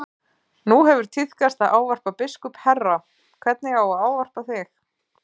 Nú hefur tíðkast að ávarpa biskup herra, hvernig á að ávarpa þig?